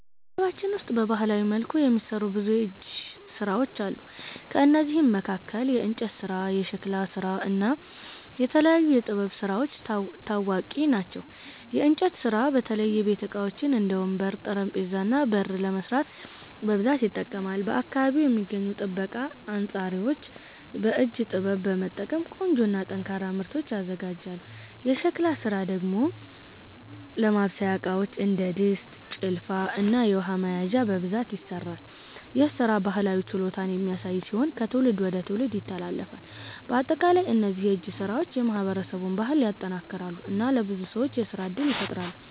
በማህበረሰባችን ውስጥ በባህላዊ መልኩ የሚሠሩ ብዙ የእጅ ሥራዎች አሉ። ከእነዚህ መካከል የእንጨት ስራ፣ የሸክላ ስራ እና የተለያዩ የጥበብ ስራዎች ታዋቂ ናቸው። የእንጨት ስራ በተለይ የቤት ዕቃዎች እንደ ወንበር፣ ጠረጴዛ እና በር ለመስራት በብዛት ይጠቀማል። በአካባቢው የሚገኙ ጠበቃ አንጻሪዎች በእጅ ጥበብ በመጠቀም ቆንጆ እና ጠንካራ ምርቶችን ያዘጋጃሉ። የሸክላ ስራ ደግሞ ለማብሰያ ዕቃዎች እንደ ድስት፣ ጭልፋ እና የውሃ መያዣዎች በብዛት ይሠራል። ይህ ሥራ ባህላዊ ችሎታን የሚያሳይ ሲሆን ከትውልድ ወደ ትውልድ ይተላለፋል። በአጠቃላይ እነዚህ የእጅ ሥራዎች የማህበረሰቡን ባህል ያጠናክራሉ እና ለብዙ ሰዎች የሥራ እድል ይፈጥራሉ።